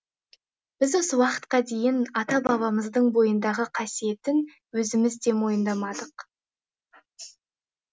біз осы уақытқа дейін ата бабамыздың бойындағы қасиетін өзіміз де мойындамадық